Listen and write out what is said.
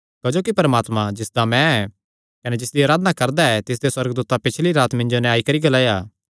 क्जोकि परमात्मा जिसदा मैं ऐ कने जिसदी अराधना करदा ऐ तिसदे सुअर्गदूतैं पीछली रात मिन्जो नैं आई करी ग्लाया